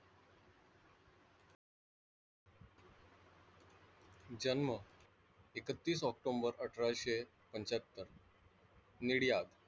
जन्म एकतीस ऑक्टोबर अठराशे पंच्याहत्तर निडियाब.